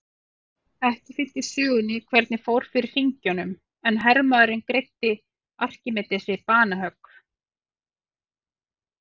Ekki fylgir sögunni hvernig fór fyrir hringjunum en hermaðurinn greiddi Arkímedesi banahögg.